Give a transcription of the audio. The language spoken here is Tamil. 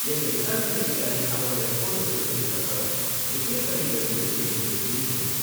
எங்க விசாரணை அதிகாரி அவரோட ரிப்போர்ட்ட கொடுத்ததுக்கு அப்புறம், ரிப்பேர் கடையில இருந்து எங்களுக்கு பில் வேணும்.